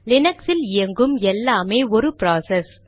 Linux இல் இயங்கும் எல்லாமே ஒரு ப்ராசஸ்